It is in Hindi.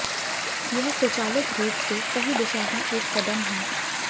यह स्वचालित रूप से सही दिशा में एक कदम है